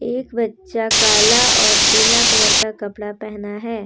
एक बच्चा काला और पीला कलर का कपड़ा पहना है।